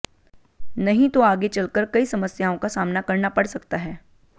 नहीं तो आगे चलकर कई समस्याओं का सामना करना पड़ सकता है